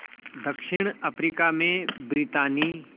दक्षिण अफ्रीका में ब्रितानी